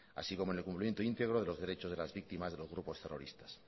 así como en el cumplimiento íntegro de los derechos de las víctimas de los grupos terroristas